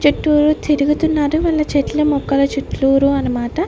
చెట్టూరు తిరుగుతున్నారు వాళ్ళ చెట్ల మొక్కల చెట్లూరు అన్నమాట.